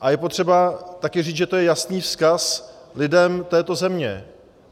A je potřeba také říct, že to je jasný vzkaz lidem této země.